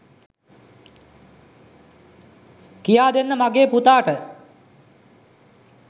කියාදෙන්න මගේ පුතාට